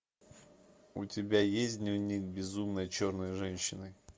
у тебя есть дневник безумной черной женщины